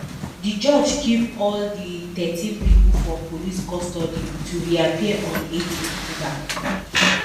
di judge keep all di thirteen pipo for police custody to reappear on eight october